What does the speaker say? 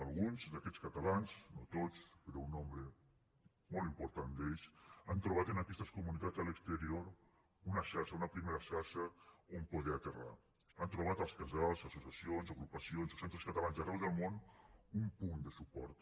alguns d’aquests catalans no tots però un nombre molt important d’ells han trobat en aquestes comunitats a l’exterior una xarxa una primera xarxa on poder aterrar han trobat als casals associacions agrupacions o centres catalans d’arreu del món un punt de suport